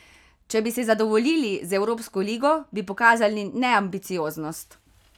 Če bi se zadovoljili z evropsko ligo, bi pokazali neambicioznost.